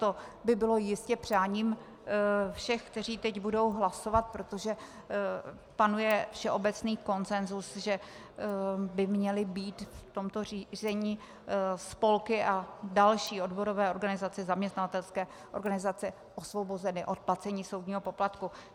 To by bylo jistě přáním všech, kteří teď budou hlasovat, protože panuje všeobecný konsensus, že by měly být v tomto řízení spolky a další odborové organizace, zaměstnavatelské organizace osvobozeny od placení soudního poplatku.